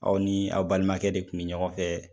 Aw ni a' balimakɛ de tun bɛ ɲɔgɔn fɛ.